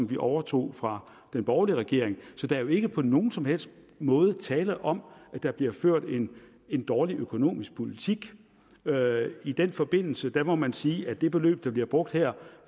vi overtog fra den borgerlige regering så der er ikke på nogen som helst måde tale om at der bliver ført en en dårlig økonomisk politik i den forbindelse må man sige at det beløb der bliver brugt her